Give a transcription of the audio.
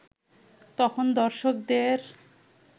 তখন দর্শকদের